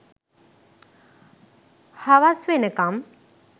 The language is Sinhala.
හවස් වෙනකම්